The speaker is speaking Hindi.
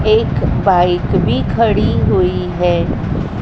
एक बाइक भी खड़ी हुई हैं।